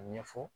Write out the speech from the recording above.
A ɲɛfɔ